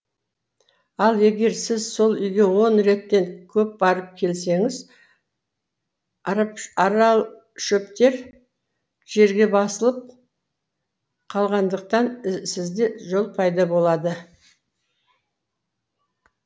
ал егер сіз сол үйге он реттен көп барып келсеңіз аралшөптер жерге басылып қалғандықтан сізде жол пайда болады